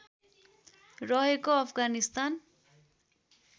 रहेको अफगानिस्तान